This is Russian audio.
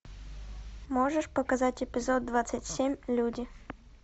можешь показать эпизод двадцать семь люди